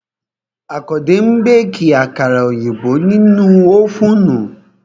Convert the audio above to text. Àkàndé ń béèkì àkàrà òyìnbó nínú ófùnù